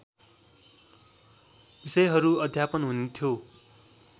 विषयहरू अध्यापन हुन्थ्यो